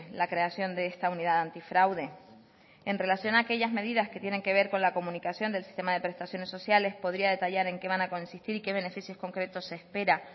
la creación de esta unidad antifraude en relación a aquellas medidas que tienen que ver con la comunicación del sistema de prestaciones sociales podría detallar en qué van a consistir y qué beneficios concretos se espera